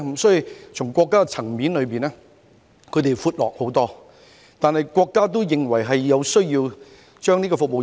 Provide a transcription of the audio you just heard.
所以，從國家層面而言，內地是寬闊得多，但國家也認為有需要提升服務業。